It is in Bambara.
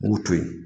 N b'u to yen